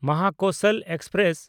Mahakoshal express